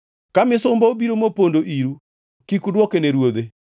Ka misumba obiro mopondo iru kik udwoke ne ruodhe.